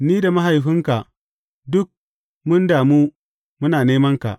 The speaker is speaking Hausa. Ni da mahaifinka duk mun damu muna nemanka.